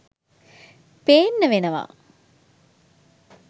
පේන්න වෙනවා.